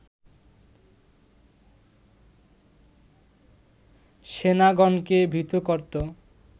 সেনাগণকে ভীত করত